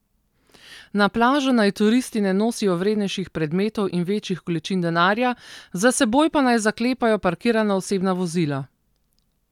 Na plažo naj turisti ne nosijo vrednejših predmetov in večjih količin denarja, za seboj pa naj zaklepajo parkirana osebna vozila.